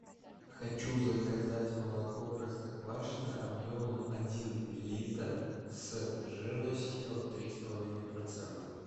хочу заказать молоко простоквашино объемом один литр с жирностью три с половиной процента